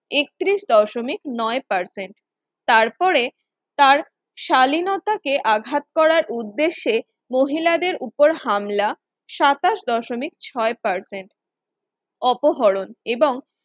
একত্রিশ দশমিক নয় Percent তারপরে তার শালীনতাকে আঘাত করার উদ্দেশ্যে মহিলাদের উপরে হামলা সাতাশ দশমিক ছয় percent অপহরণ এবং